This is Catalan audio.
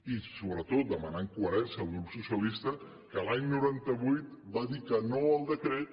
i sobretot demanem coherència al grup socialistes que l’any noranta vuit va dir que no al decret